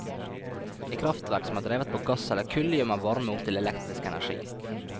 I kraftverk som er drevet på gass eller kull, gjør man varme om til elektrisk energi.